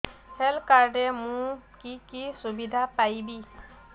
health card ରେ ମୁଁ କି କି ସୁବିଧା ପାଇବି